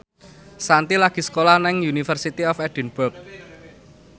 Shanti lagi sekolah nang University of Edinburgh